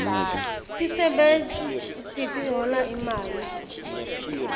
tisebewti tihola imali